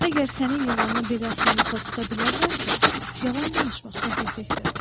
Əgər sənin yalanını belə asanlıqla tuta bilərlərsə, yalan danışmaq səfehlikdir.